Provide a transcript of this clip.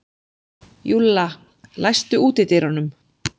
Júlla, læstu útidyrunum.